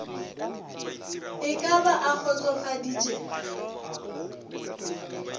e ka ba a kgotsofaditše